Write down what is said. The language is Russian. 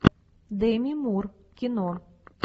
деми мур кино